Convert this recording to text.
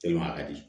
a ka di